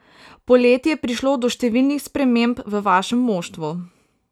Poleti je prišlo do številnih sprememb v vašem moštvu.